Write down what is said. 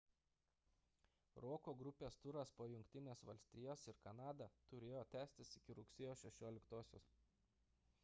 roko grupės turas po jungtines valstijas ir kanadą turėjo tęstis iki rugsėjo 16 d